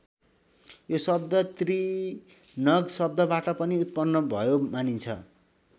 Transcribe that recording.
यो शब्द त्रिनग शब्दबाट पनि उत्पन्न भयो मानिन्छ।